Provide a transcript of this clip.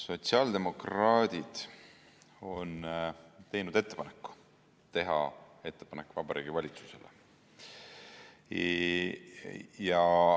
Sotsiaaldemokraadid on teinud ettepaneku teha ettepanek Vabariigi Valitsusele.